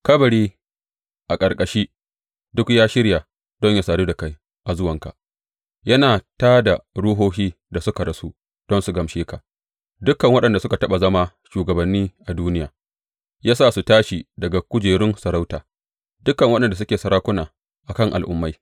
Kabari a ƙarƙashi duk ya shirya don yă sadu da kai a zuwanka; yana tā da ruhohin da suka rasu don su gaishe ka, dukan waɗanda sun taɓa zama shugabanni a duniya; ya sa suka tashi daga kujerun sarauta, dukan waɗanda suke sarakuna a kan al’ummai.